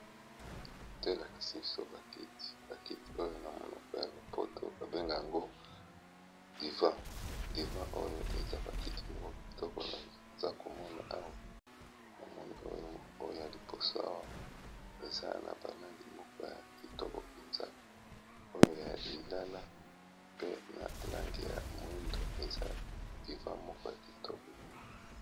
Kote elakisi biso ba kiti, ba kiti oyo na monoko ya lopoto ba benge yango diva. Diva oyo, eza ba kiti moko kitoko. Naza komona awa, na moni oyo ya liboso awa, eza na balangi moko ya kitoko mpenza. Oyo ya lilala pe na lange ya moindo. Eza diva moko ya kitoko.